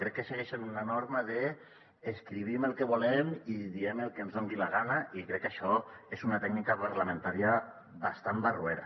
crec que segueixen una norma d’ escrivim el que volem i diem el que ens doni la gana i crec que això és una tècnica parlamentària bastant barroera